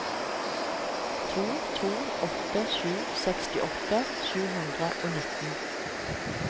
to to åtte sju sekstiåtte sju hundre og nitten